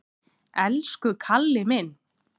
Elsku Kalli minn!